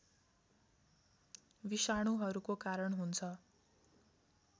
विषाणुहरूको कारण हुन्छ